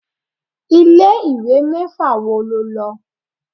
Ilé ìwé mẹ́fà wo lo lọ?